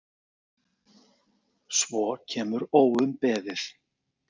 Svo kemur óumbeðið